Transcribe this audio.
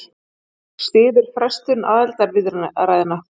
Styður frestun aðildarviðræðna